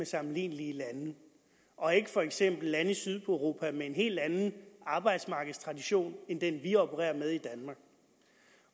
sammenlignelige lande og ikke for eksempel med lande i sydeuropa med en helt anden arbejdsmarkedstradition end den vi opererer med i danmark